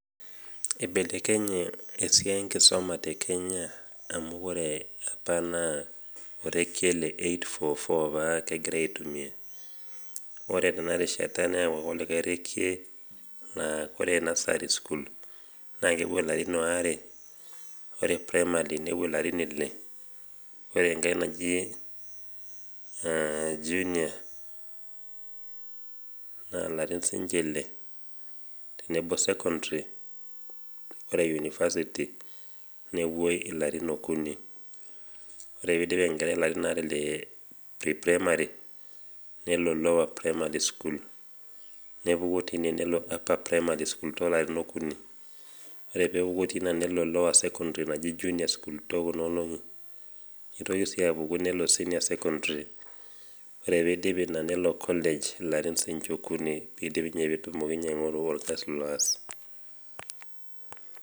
eibelekenye esiai enkisuma te kenya, amu ore apa naa orekie le eight four four egirae aitumia. naa ore nursery school na kepuo larin aare ore primary school nepuo ilarin ile, ore enkae naji junior nepuo larin ile, tenebo secondary ore university nepuoi ilarin okuni. ore pee eidip enkerai ilarin aare le primary nelo lowerprimary school nepuku teine nelo upper primary school toolarin okuni. ore pee epuku tina nelo lower scondary naji junior school too kuna olongi ,neitoki sii apuku nelo junior secondary ore pee eidip ina nelo ninye college ilarin okuni pee etumoki ninye aingoru orkasi loos.